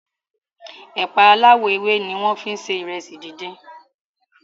ẹ̀pà aláwò ewé ní wón fí se Ìrẹsì dín dín.